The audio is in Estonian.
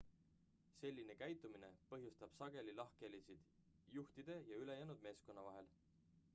selline käitumine põhjustab sageli lahkhelisid juhtide ja ülejäänud meeskonna vahel